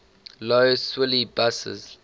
lough swilly buses